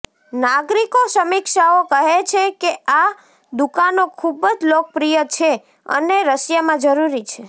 નાગરિકો સમીક્ષાઓ કહે છે કે આ દુકાનો ખૂબ જ લોકપ્રિય છે અને રશિયામાં જરૂરી છે